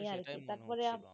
এই আর কি